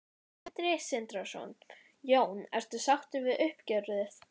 Sindri Sindrason: Jón ertu sáttur við uppgjörið?